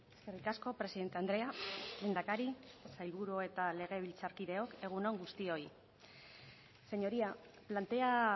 eskerrik asko presidente andrea lehendakari sailburu eta legebiltzarkideok egun on guztioi señoría plantea